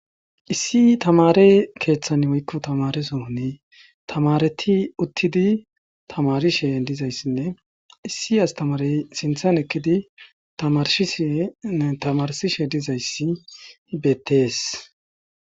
issi tamarey keeththan woykko tamare sohoni tamareti uttidi tamarishe dizayssinne issi astamarey sinthan ekkidi tamarshishinne tamarsishe dizayssi beettees